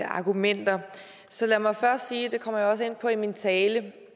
argumenter så lad mig først sige det kommer jeg også ind på i min tale